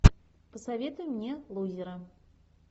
посоветуй мне лузера